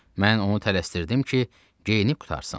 Mən onu tələsdirdim ki, geyinib qurtarsın.